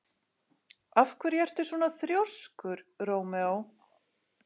Af hverju ertu svona þrjóskur, Rómeó?